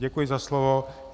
Děkuji za slovo.